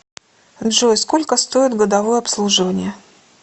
джой сколько стоит годовое обслуживание